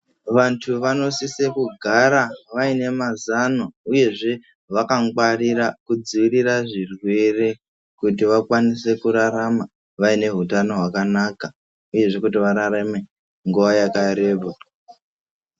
Vantu vanosisa kugara vaine mazano, uyezve vakangwarira kudzivirira zvirwere kuti vakwanise kurarama vaine hutano hwakanaka, uyezve kuti vararame nguva yakareba.